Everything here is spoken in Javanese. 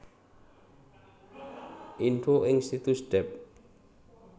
Info ing situs Dept